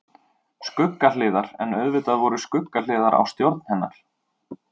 Skuggahliðar En auðvitað voru skuggahliðar á stjórn hennar.